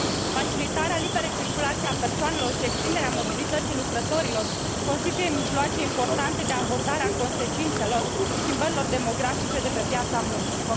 Facilitarea liberei circulații a persoanelor și extinderea mobilității lucrătorilor constituie mijloace importante de abordare a consecințelor schimbărilor demografice de pe piața muncii.